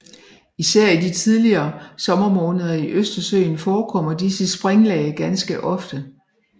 Især i de tidlige sommermåneder i Østersøen forekommer disse springlag ganske ofte